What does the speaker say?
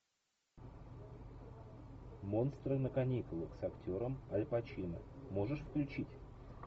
монстры на каникулах с актером аль пачино можешь включить